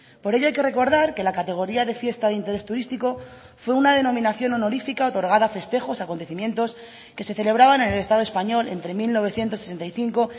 por ello hay que recordar que la categoría de fiesta de interés turístico fue una denominación honorífica otorgada a festejos acontecimientos que se celebraban en el estado español entre mil novecientos sesenta y cinco